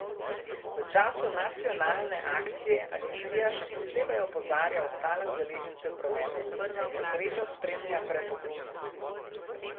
V času nacionalne akcije agencija še posebej opozarja ostale udeležence v prometu: "Nesreča spremlja prepogumne.